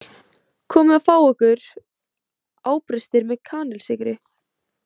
Komið og fáið ykkur ábrystir með kanilsykri